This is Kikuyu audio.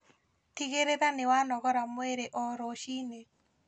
Tigĩrĩra nĩwanogora mwĩrĩ o rũciinĩ